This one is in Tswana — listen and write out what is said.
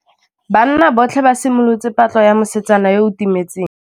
Banna botlhê ba simolotse patlô ya mosetsana yo o timetseng.